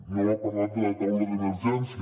no m’ha parlat de la taula d’emergència